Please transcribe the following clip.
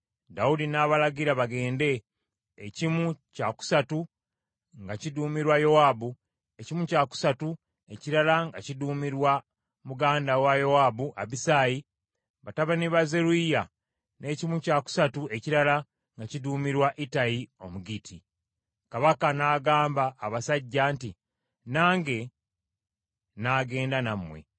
Dawudi n’abalagira bagende, ekimu kya kusatu nga kiduumirwa Yowaabu, ekimu kya kusatu ekirala nga kiduumirwa muganda wa Yowaabu, Abisaayi batabani wa Zeruyiya, n’ekimu kya kusatu ekirala nga kiduumirwa Ittayi Omugitti. Kabaka n’agamba abasajja nti, “Nange n’agenda nammwe.”